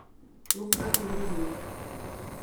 Tokrat v levi uhelj.